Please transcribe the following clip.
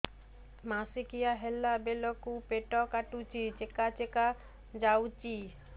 ମାସିକିଆ ହେଲା ବେଳକୁ ପେଟ କାଟୁଚି ଚେକା ଚେକା ଯାଉଚି